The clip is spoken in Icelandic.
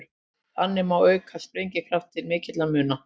Þannig má auka sprengikraftinn til mikilla muna.